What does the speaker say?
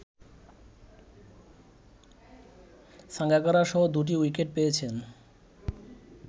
সাঙ্গাকারারসহ দুটি উইকেট পেয়েছেন